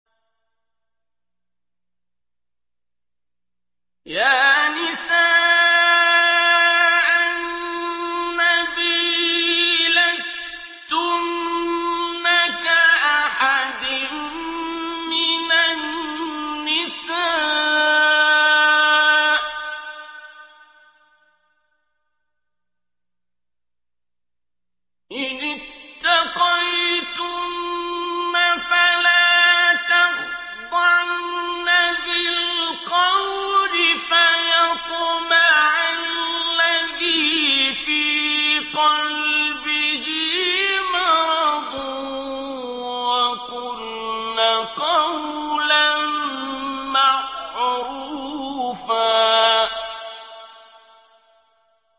يَا نِسَاءَ النَّبِيِّ لَسْتُنَّ كَأَحَدٍ مِّنَ النِّسَاءِ ۚ إِنِ اتَّقَيْتُنَّ فَلَا تَخْضَعْنَ بِالْقَوْلِ فَيَطْمَعَ الَّذِي فِي قَلْبِهِ مَرَضٌ وَقُلْنَ قَوْلًا مَّعْرُوفًا